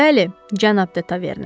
Bəli, cənab de Taverne.